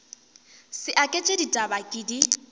sa aketše ditaba ke di